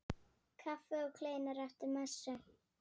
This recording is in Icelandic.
Kaffi og kleinur eftir messu.